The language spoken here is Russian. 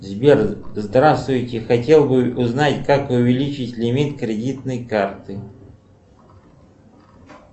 сбер здравствуйте хотел бы узнать как увеличить лимит кредитной карты